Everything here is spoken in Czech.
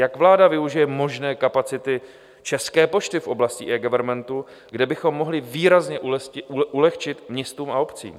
Jak vláda využije možné kapacity České pošty v oblasti eGovernmentu, kde bychom mohli výrazně ulehčit městům a obcím?